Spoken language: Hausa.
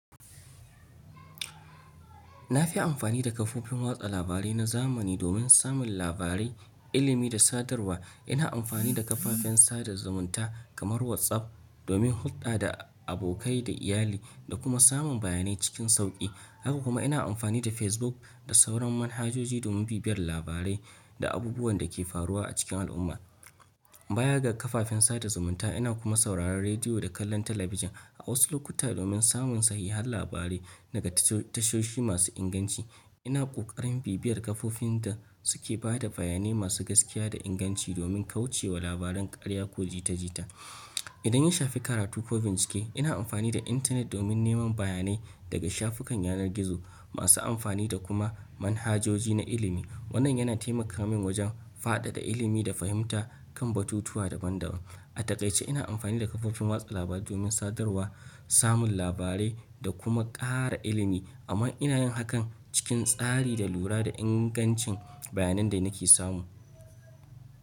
Na fi amfani da kafofin watsa labarai na zamani domin samun labarai, ilimi da sadarwa. Ina amfani da kafafen sada zumunta kamar WhatsApp domin hulɗa da abokai da iyali, da kuma samun bayanai cikin sauƙi. Haka kuma ina amfani da Facebook da sauran manhajoji domin bibiyar labarai da abubuwan da ke faruwa a cikin al'umma. Baya ga kafafen sada zumunta, ina kuma sauraron rediyo da kallon talabijin, a wasu lokuta domin samun sahihan labarai daga tashoshi masu inganci. Ina ƙoƙarin bibiyar kafofin da suke ba da bayanai masu gaskiya da inganci domin kauce wa labaran ƙarya ko jita-jita. Idan in shafi karatu ko bincike, ina amfani da intanet domin neman bayanai daga shafukan yanar gizo, masu amfani da kuma manhajoji na ilimi. Wannan yana taimaka min wajen fadada ilimi da fahimta, kan batutuwa daban-daban. A taƙaice, ina amfani da kafofin watsa labarai domin sadarwa, samun labarai, da kuma ƙara ilimi, amma ina yin hakan cikin tsari da lura da ingancin bayanan da nake samu.